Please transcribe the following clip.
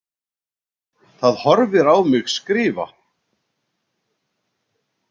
Það horfir á mig skrifa.